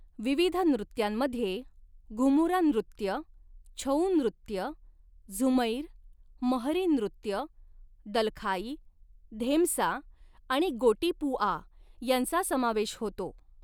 विविध नृत्यांमध्ये घुमुरा नृत्य, छऊ नृत्य, झुमैर, महरी नृत्य, दलखाई, धेमसा आणि गोटीपुआ यांचा समावेश होतो.